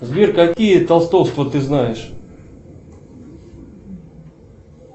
сбер какие толстовства ты знаешь